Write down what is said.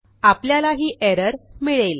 आपल्याला ही एरर मिळेल